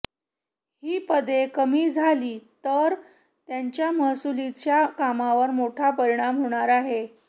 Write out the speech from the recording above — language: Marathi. ही पदे कमी झाली तर त्याचा महसूलच्या कामावर मोठा परिणाम होणार आहे